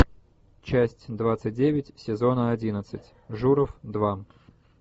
часть двадцать девять сезона одиннадцать журов два